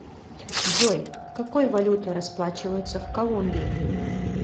джой какой валютой расплачиваются в колумбии